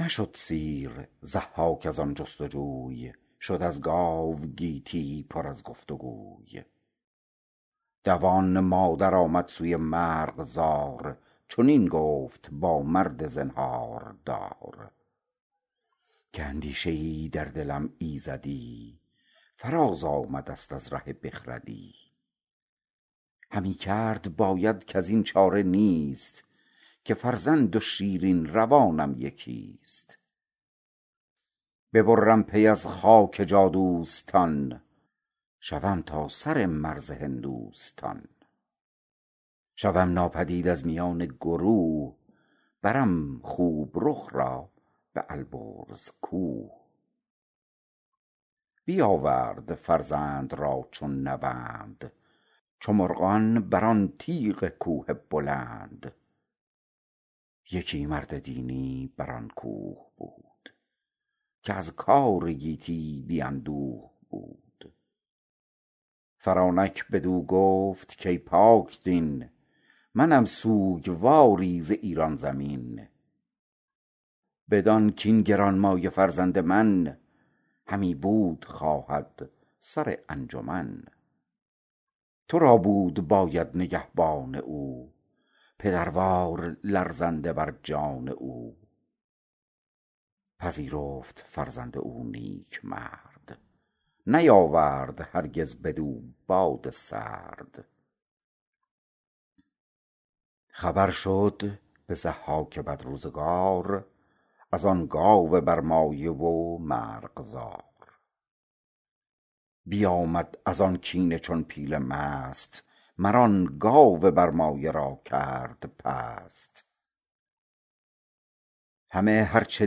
نشد سیر ضحاک از آن جست جوی شد از گاو گیتی پر از گفت گوی دوان مادر آمد سوی مرغزار چنین گفت با مرد زنهاردار که اندیشه ای در دلم ایزدی فراز آمده ست از ره بخردی همی کرد باید کزین چاره نیست که فرزند و شیرین روانم یکیست ببرم پی از خاک جادوستان شوم تا سر مرز هندوستان شوم ناپدید از میان گروه برم خوب رخ را به البرز کوه بیاورد فرزند را چون نوند چو مرغان بر آن تیغ کوه بلند یکی مرد دینی بر آن کوه بود که از کار گیتی بی اندوه بود فرانک بدو گفت کای پاکدین منم سوگواری ز ایران زمین بدان کاین گرانمایه فرزند من همی بود خواهد سر انجمن تو را بود باید نگهبان او پدروار لرزنده بر جان او پذیرفت فرزند او نیکمرد نیاورد هرگز بدو باد سرد خبر شد به ضحاک بدروزگار از آن گاو برمایه و مرغزار بیامد از آن کینه چون پیل مست مر آن گاو برمایه را کرد پست همه هر چه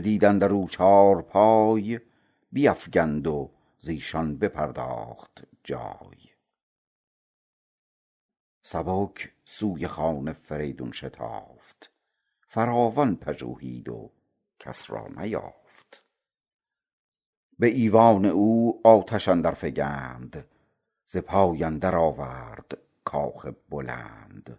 دید اندر او چارپای بیفگند و زیشان بپرداخت جای سبک سوی خان فریدون شتافت فراوان پژوهید و کس را نیافت به ایوان او آتش اندر فگند ز پای اندر آورد کاخ بلند